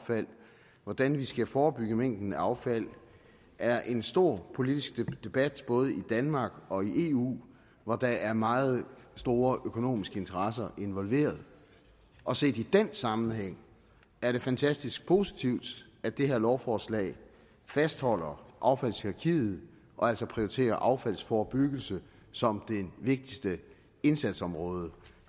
hvordan vi skal forebygge mængden af affald er en stor politisk debat både i danmark og i eu hvor der er meget store økonomiske interesser involveret og set i den sammenhæng er det fantastisk positivt at det her lovforslag fastholder affaldshierarkiet og altså prioriterer affaldsforebyggelse som det vigtigste indsatsområde